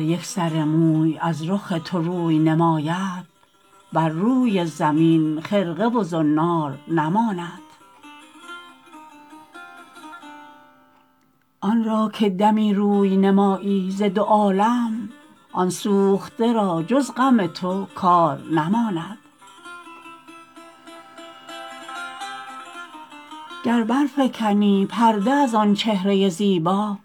یک سر موی از رخ تو روی نماید بر روی زمین خرقه و زنار نماند آن را که دمی روی نمایی ز دو عالم آن سوخته را جز غم تو کار نماند گر برفکنی پرده از آن چهره زیبا